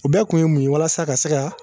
U bɛɛ kun ye mun ye walasa ka se ka